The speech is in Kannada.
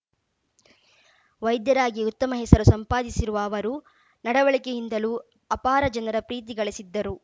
ವೈದ್ಯರಾಗಿ ಉತ್ತಮ ಹೆಸರು ಸಂಪಾದಿಸಿರುವ ಅವರು ನಡವಳಿಕೆಯಿಂದಲೂ ಅಪಾರ ಜನರ ಪ್ರೀತಿ ಗಳಿಸಿದ್ದರು